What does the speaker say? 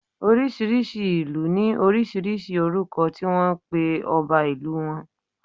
Oriṣiriṣi ilu ni oríṣiríṣi orúkọ ti wọn pe ọba ìlú wọn